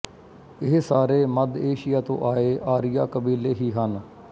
ਇਹ ਸਾਰੇ ਮੱਧ ਏਸ਼ੀਆ ਤੋਂ ਆਏ ਆਰੀਆ ਕਬੀਲੇ ਹੀ ਹਨ